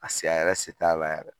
Paseke a yɛrɛ se t'a la yɛrɛ